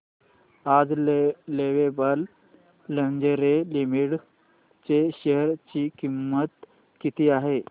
आज Lovable Lingerie Limited च्या share ची किंमत किती आहे